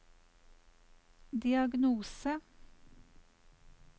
diagnose